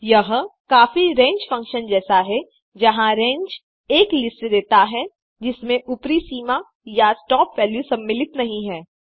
यह काफी range function जैसा है जहाँ रंगे एक लिस्ट देता है जिसमें ऊपरी सीमा या स्टॉप वैल्यू सम्मिलित नहीं है